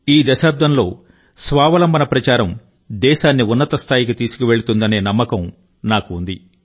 ఈ దశాబ్దంలో స్వావలంబన భారత ప్రచారం దేశాన్ని ఉన్నత స్థాయికి తీసుకువెళుతుందనే నమ్మకం నాకు ఉంది